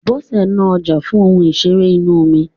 Bọ́sẹ̀ ń ná ọjà fún ohun ìṣeré inú omi.